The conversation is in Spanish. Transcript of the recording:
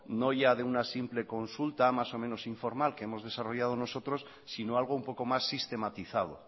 no ya de una simple consulta más o menos informal que hemos desarrollado nosotros sino algo un poco más sistematizado